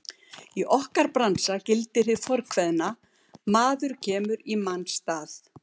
Í okkar bransa gildir hið fornkveðna: Maður kemur í manns stað.